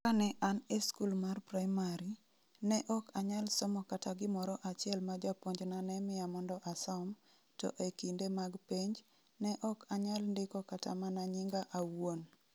Kane an e skul mar praimari, ne ok anyal somo kata gimoro achiel ma japuonjna ne miya mondo asom, to e kinde mag penj, ne ok anyal ndiko kata mana nyinga awuon.